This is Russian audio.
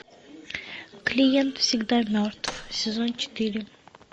клиент всегда мертв сезон четыре